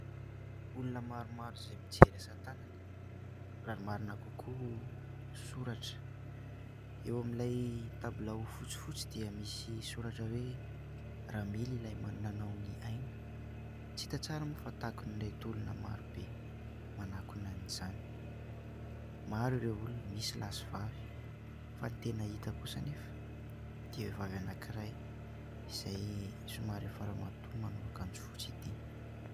Olona maromaro izay mijery asa tanana. Raha ny marina kokoa soratra. Eo amin'ilay tabilao fotsifotsy dia misy soratra hoe : "Ramily ilay nanao ny aina..." Tsy hita tsara moa fa takon'ireto olona maro be manakona an'izany. Maro ireo olona, misy lahy sy vavy, fa ny tena hita kosa anefa ity vehivavy anankiray izay somary efa ramatoa manao akanjo fotsy ity.